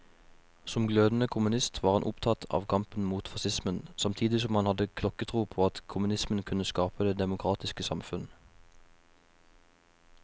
Som glødende kommunist var han opptatt av kampen mot facismen, samtidig som han hadde klokketro på at kommunismen kunne skape det demokratiske samfunn.